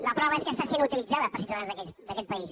la prova és que està sent utilitzada per ciutadans d’aquest país